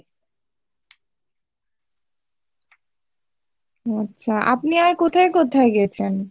আচ্ছা, আপনি আর কোথায় কোথায় গেছেন ?